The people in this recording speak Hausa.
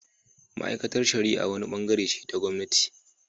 Ma’aikatar shari’a wani bangare ce ta gwamnati